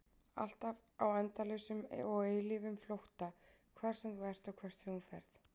Alltaf á endalausum og eilífum flótta, hvar sem þú ert og hvert sem þú ferð.